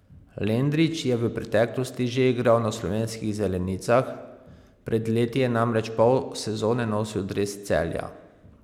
Lendrić je v preteklosti že igral na slovenskih zelenicah, pred leti je namreč pol sezone nosil dres Celja.